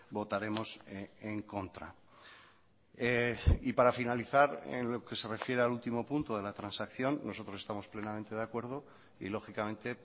votaremos en contra y para finalizar en lo que se refiere al último punto de la transacción nosotros estamos plenamente de acuerdo y lógicamente